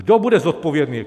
Kdo bude zodpovědný.